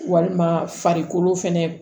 Walima farikolo fɛnɛ